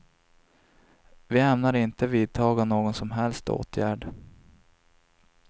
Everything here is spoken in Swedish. Vi ämnar inte vidtaga någon som helst åtgärd.